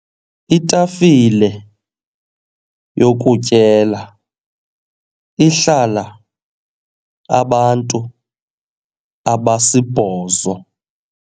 Itafile yokutyela ihlala abantu abasibhozo.